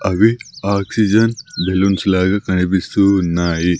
అవి oxygen balloons లాగా కనిపిస్తూ ఉన్నాయి.